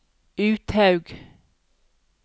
Uthaug